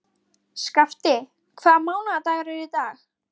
Skafti, hvaða mánaðardagur er í dag?